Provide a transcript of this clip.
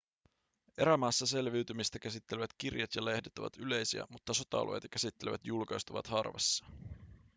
erämaassa selviytymistä käsittelevät kirjat ja lehdet ovat yleisiä mutta sota-alueita käsittelevät julkaisut ovat harvassa